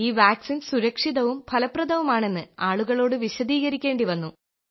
ഈ വാക്സിൻ സുരക്ഷിതവും ഫലപ്രദവുമാണെന്ന് ആളുകളോട് വിശദീകരിക്കേണ്ടി വന്നു